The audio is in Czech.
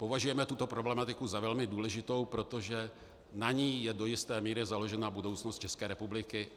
Považujeme tuto problematiku za velmi důležitou, protože na ní je do jisté míry založena budoucnost České republiky.